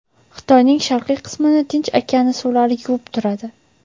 Xitoyning sharqiy qismini Tinch okeani suvlari yuvib turadi.